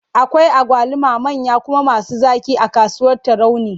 Akwai agwaluma manya kuma masu zaƙi a kasuwar Tarauni.